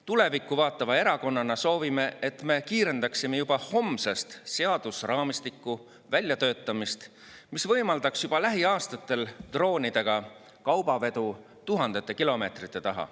Tulevikku vaatava erakonnana soovime, et me kiirendaksime juba homsest seadusraamistiku väljatöötamist, mis võimaldaks juba lähiaastatel droonidega kaubavedu tuhandete kilomeetrite taha.